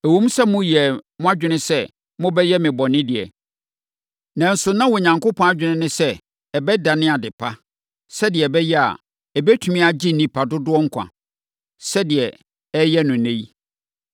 Ɛwom sɛ moyɛɛ mo adwene sɛ mobɛyɛ me bɔne deɛ, nanso na Onyankopɔn adwene ne sɛ, ɛbɛdane ade pa, sɛdeɛ ɛbɛyɛ a, ɔbɛtumi agye nnipa dodoɔ nkwa, sɛdeɛ ɔreyɛ no ɛnnɛ yi.